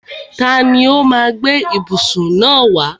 Tani ó má a gbé ìbùsùn náà wá?